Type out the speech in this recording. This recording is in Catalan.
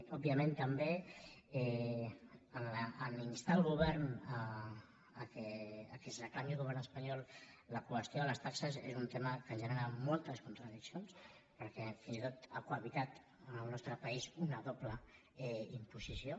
òbviament també instar el govern que reclami al govern espanyol la qüestió de les taxes és un tema que ens genera moltes contradiccions perquè fins i tot ha cohabitat al nostre país una doble imposició